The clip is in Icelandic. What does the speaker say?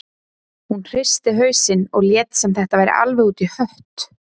Hún hristi hausinn og lét sem þetta væri alveg út í hött.